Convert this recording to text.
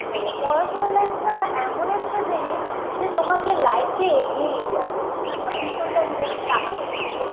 করো পড়াশোনা life -টাও এমন একটা জিনিস যে তোমাকে life -এ এগিয়ে নিয়ে যাবে so পিছনটার দিকে তাকাবে না যে